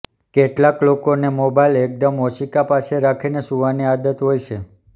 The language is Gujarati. કેટલાક લોકોને મોબાઈલ એકદમ ઓશિકા પાસે રાખીને સુવાની આદત હોય છે